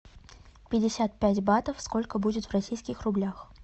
пятьдесят пять батов сколько будет в российских рублях